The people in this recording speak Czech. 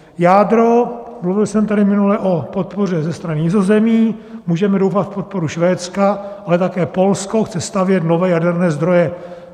Jádro: mluvil jsem tady minule o podpoře ze strany Nizozemí, můžeme doufat v podporu Švédska, ale také Polsko chce stavět nové jaderné zdroje.